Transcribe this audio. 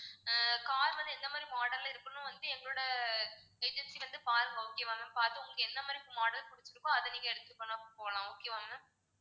ஆஹ் car வந்து எந்த மாதிரி model ல இருக்கணும் வந்து எங்களோட agency வந்து பாருங்க okay வா ma'am பாத்து உங்களுக்கு எந்த மாதிரி model புடிச்சிருக்கோ அதை நீங்க எடுத்துட்டு வேணா போலாம் okay வா ma'am